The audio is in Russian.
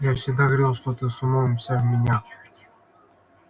я всегда говорил что ты с умом вся в меня